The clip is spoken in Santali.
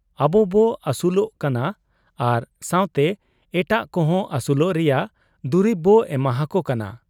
ᱟᱵᱚᱵᱚ ᱟᱹᱥᱩᱞᱚᱜ ᱠᱟᱱᱟ ᱟᱨ ᱥᱟᱶᱛᱮ ᱮᱴᱟᱜ ᱠᱚᱦᱚᱸ ᱟᱹᱥᱩᱞᱚᱜ ᱨᱮᱭᱟᱝ ᱫᱩᱨᱤᱵ ᱵᱚ ᱮᱢᱟᱦᱟᱠᱚ ᱠᱟᱱᱟ ᱾